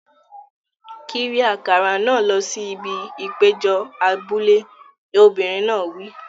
Kiri àkàrà náà lọ sí ibi ìpéjọ abúlé! Obìnrin náà wí.